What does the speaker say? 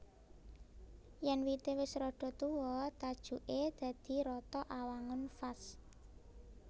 Yèn wité wis rada tuwa tajuké dadi rata awangun vas